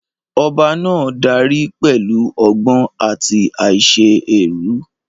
Ọba náà dárí pẹ̀lú ọgbọ́n àti àìṣe èrú.